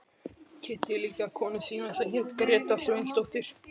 Kynnti líka konu sína sem hét Gréta Sveinsdóttir.